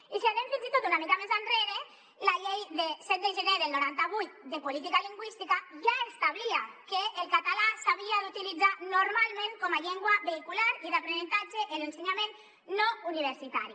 i si anem fins i tot una mica més enrere la llei de set de gener del noranta vuit de política lingüística ja establia que el català s’havia d’utilitzar normalment com a llengua vehicular i d’aprenentatge en l’ensenyament no universitari